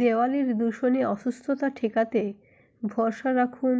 দেওয়ালির দূষণে অসুস্থতা ঠেকাতে ভরসা রাখুন